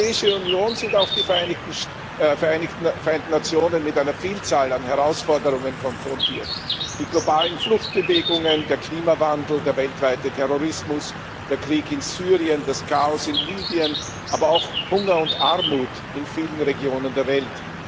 Wie die Europäische Union sind auch die Vereinten Nationen mit einer Vielzahl an Herausforderungen konfrontiert die globalen Fluchtbewegungen, der Klimawandel, der weltweite Terrorismus, der Krieg in Syrien, das Chaos in Libyen, aber auch Hunger und Armut in vielen Regionen der Welt.